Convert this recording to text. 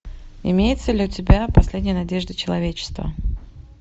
имеется ли у тебя последняя надежда человечества